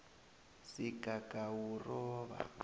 sigagawuroba